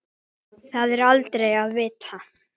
Það er aldrei að vita?